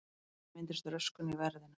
Þannig myndist röskun í verðinu.